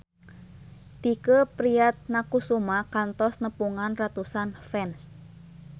Tike Priatnakusuma kantos nepungan ratusan fans